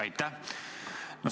Aitäh!